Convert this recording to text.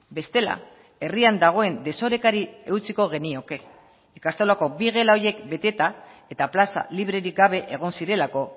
bestela herrian dagoen desorekari eutsiko genioke ikastolako bi gela horiek beteta eta plaza librerik gabe egon zirelako